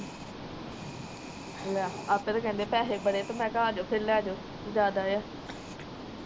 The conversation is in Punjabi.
ਲੈ ਆਪੇ ਕਹਿੰਦੇ ਪੈਸੇ ਬੜੇ, ਤੇ ਮੈ ਕਿਹਾ ਆਜੋ ਫਿਰ ਲਾਜੋ ਫਿਰ ਜਾਂਦਾ ਆ।